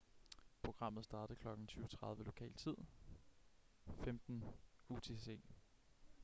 programmet startede kl. 20:30 lokal tid 15.00 utc